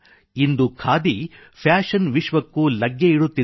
ಇಂದು khadi fashion ವಿಶ್ವಕ್ಕೂ ಲಗ್ಗೆ ಇಡುತ್ತಿದೆ